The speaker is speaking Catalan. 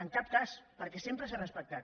en cap cas perquè sempre s’ha respectat